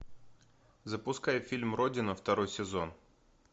запускай фильм родина второй сезон